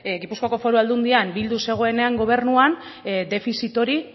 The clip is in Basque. gipuzkoako foru aldundian bildu zegoenean gobernuan defizit hori